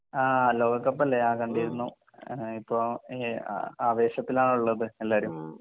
ആഹ് ലോക കപ്പല്ലേ കണ്ടിരുന്നു. ഇപ്പൊ എഹ് അ ആവേശത്തിലാണാല്ലോ ഉള്ളത് എല്ലാരും